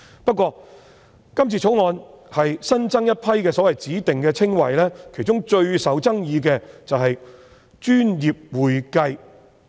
不過，《條例草案》新增一批指定稱謂，其中最受爭議的是"專業會計"。